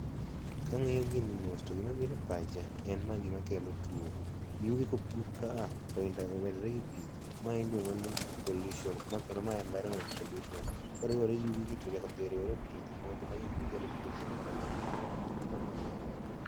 Kang'iyo gini mos, to gima biro e pacha en ma gima kelo tuo Yugi kopuk ka a to omedore gi pi, ma iluiongo ni pollution kendo mae environment pollution koriwore gi yugigi to chak odhi oriwore gi pi to ji modho to magi e gik ma kelo twoche manyalo mio ng'ato tho.